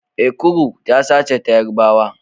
Ekuru tasa ce ta Yarabawa.